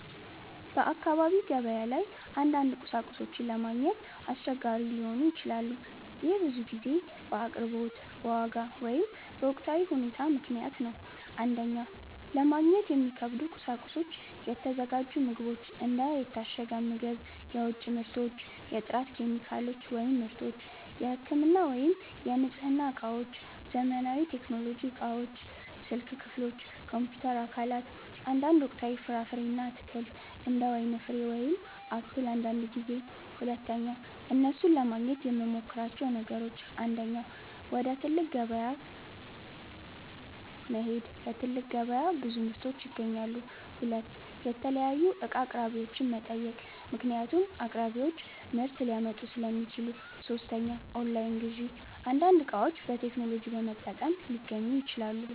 በአካባቢ ገበያ ላይ አንዳንድ ቁሳቁሶች ለማግኘት አስቸጋሪ ሊሆኑ ይችላሉ። ይህ ብዙ ጊዜ በአቅርቦት፣ በዋጋ ወይም በወቅታዊ ሁኔታ ምክንያት ነው። 1) ለማግኘት የሚከብዱ ቁሳቁሶች የተዘጋጁ ምግቦች እንደ የታሸገ ምግብ፣ የውጭ ምርቶች የጥራት ኬሚካሎች / ምርቶች የህክምና ወይም የንጽህና እቃዎች ዘመናዊ ቴክኖሎጂ እቃዎች ስልክ ክፍሎች፣ ኮምፒውተር አካላት አንዳንድ ወቅታዊ ፍራፍሬ እና አትክልት እንደ ወይን ፍሬ ወይም አፕል አንዳንድ ጊዜ 2) እነሱን ለማግኘት የምመሞክራቸው ነገሮች 1. ወደ ትልቅ ከተማ ገበያ መሄድ በትልቅ ገበያ ብዙ ምርቶች ይገኛሉ 2. የተለያዩ እቃ አቅራቢዎችን መጠየቅ ምክንያቱም አቅራቢዎች ምርት ሊያመጡ ሥለሚችሉ 3. ኦንላይን ግዢ አንዳንድ እቃዎች በቴክኖሎጂ በመጠቀም ሊገኙ ይችላሉ